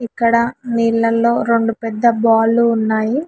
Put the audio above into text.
ఇక్కడ నీళ్లలో రెండు పెద్ద బాలు ఉన్నాయి.